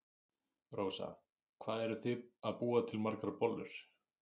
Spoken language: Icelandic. Rósa: Hvað eruð þið að búa til margar bollur?